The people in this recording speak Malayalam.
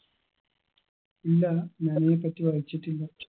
ഇല്ല ഞാനീപറ്റി വായിച്ചിട്ടില്ല